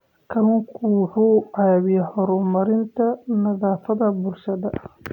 Kalluunku wuxuu caawiyaa horumarinta nafaqada bulshada.